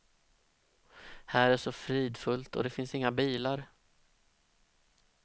Här är så fridfullt, och det finns inga bilar.